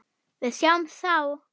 Við sjáumst þá!